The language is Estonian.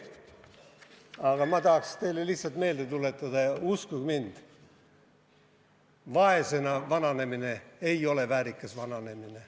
Aga ma tahan teile lihtsalt üht asja meelde tuletada: uskuge mind, vaesena vananemine ei ole väärikas vananemine.